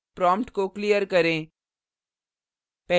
prompt को clear करें